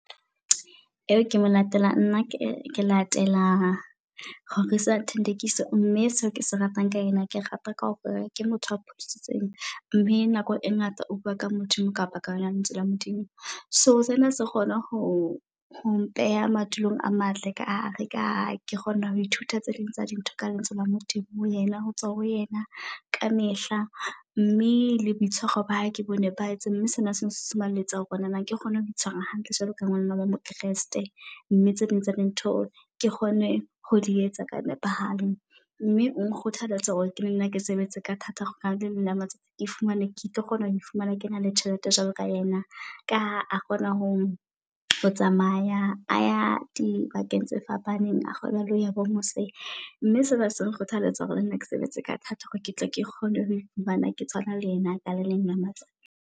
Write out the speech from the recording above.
Eo ke mo latela nna ke ke latela Rorisang Thandekiso. Mme seo kese ratang ka ena, ke rata ka hore ke motho a pholositsweng mme nako e ngata o bua ka Modimo kapa ka yona lentswe la Modimo. So sena se kgone ho ho mpeha madulong a matle ka hare ka ha ke kgona ho ithuta tse ding tsa di ntho ka lentswe la Modimo. Ho yena ho tswa ho yena kamehla mme le boitshwaro ba hae ke o nepahetseng. mme sena se nsunsumeletsa hore nna ke kgone ho itshwara hantle jwalo ka ngwana mo Kreste. Mme tse ding tsa di ntho ke kgone ho di etsa ka nepahalo mme o nkgothaletsa hore ke nenne ke sebetse ka thata. Hore ka le leng la matsatsi, ke fumane ke tlo kgona ho i fumana ke na le tjhelete jwalo ka yena. Ka ha kgona ho ho tsamaya a ya di bakeng tse fapaneng. A kgona le ho ya bo mose, mme sena se nkgothaletsa hore le nna ke sebetse ka thata hore ke tla ke kgone ho iphumana ke tshwana le yena ka le leng la matsatsi.